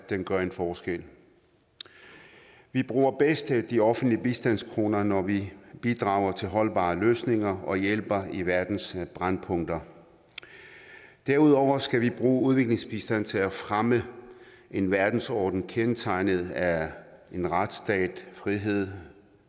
den gør en forskel vi bruger bedst de offentlige bistandskroner når vi bidrager til holdbare løsninger og hjælper i verdens brændpunkter derudover skal vi bruge udviklingsbistanden til at fremme en verdensorden kendetegnet af en retsstat frihed